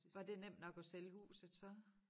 Var det nemt nok at sælge huset så?